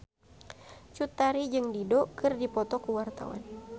Cut Tari jeung Dido keur dipoto ku wartawan